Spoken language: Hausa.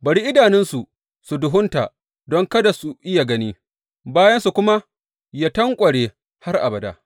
Bari idanunsu su duhunta don kada su iya gani, bayansu kuma yă tanƙware har abada.